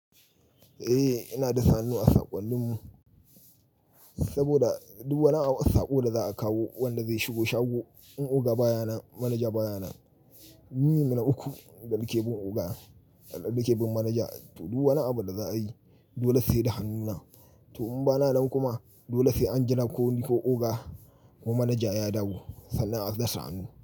Eh, ina da sannu a saƙonnin mu saboda duk wani a saƙo da za a kawo wanda zai shigo shago, in oga bayanan, manaja bayanan, duniyyi mana uku, ɗalƙebu oga, ɗalƙebu manaja, to duk wani abu da za a yi dole sai da hannuna. To in bana nan kuma dole sai an jira ko ni ko oga ko manaja ya dawo sannan a dasa hannu.